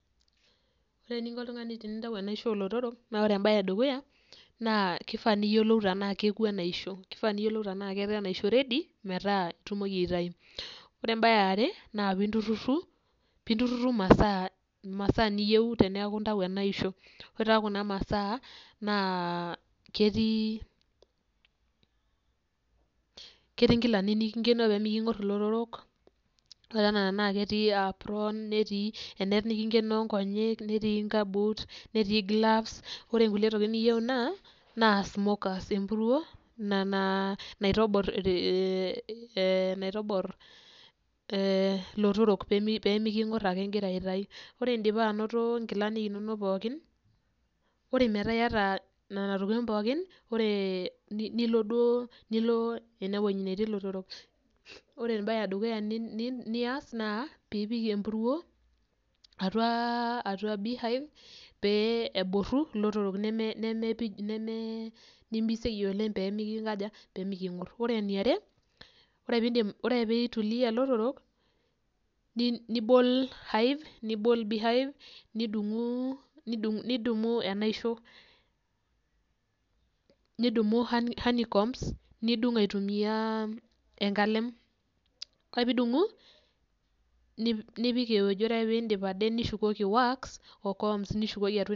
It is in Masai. Ore eninko oltungani tenintayu enaisho oolotorok naa ore imbae edukuya, naa kifaa niyiolou tenaa kewo enaisho, kifaa niyiolou tenaa ketaa enaisho ready metaa itumoki aitayu. Ore embae eare, naa naa pintururu imasaa neyieu teneeku intayu ena aisho, ore taa kuna masaa naa ketii inkilani nikinkenoo peemikonkor ilotorok, ore kuna naa ketii apron, netii enet nikinkenoo inkonyek, netii inkabuut, netii gloves. Ore inkulie tokitin niyieu naa smoker aa empuruo ina naitobor ilotorok peeminkor ake ingira aitayu, ore indipa anoto inkilanik inonok pookin, ore metaa iyata nena tokitin pookin nilo enewoji netii ilotorok. Ore embae edukuya nias naa, piipik empuruo atua beehive pee eboru ilotorok nimiseyie oleng' peemikonkor. Ore eniare ore ituluya ilotorok nibol beehive nidumu enaisho nidungu enaisho honeycombs nidungu aitumiya enkalem, nipik ewoji ore ake piidip atipika nishukoki wax o comb nishukoki atua inewoji.